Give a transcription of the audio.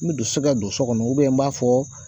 Ne de se ka don so kɔnɔ n b'a fɔ